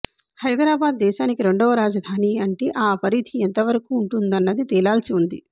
హైదరాబాద్ దేశానికి రెండవ రాజధాని అంటే ఆ పరిధి ఎంతవరకు ఉంటుందన్నది తేలాల్సి ఉంది